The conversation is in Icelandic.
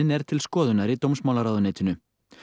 er til skoðunar í dómsmálaráðuneytinu